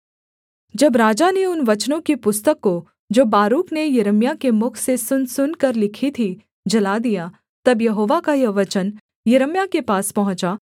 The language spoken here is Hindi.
जब राजा ने उन वचनों की पुस्तक को जो बारूक ने यिर्मयाह के मुख से सुन सुनकर लिखी थी जला दिया तब यहोवा का यह वचन यिर्मयाह के पास पहुँचा